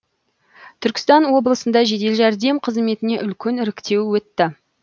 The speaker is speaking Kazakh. түркістан облысында жедел жәрдем қызметіне үлкен іріктеу өтті